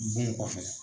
Bon kɔfɛ